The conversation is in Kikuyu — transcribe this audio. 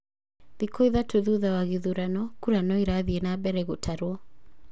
Thikũ ithatũ thutha wa gĩthurano, kura naoirathie na mbere gũtarwo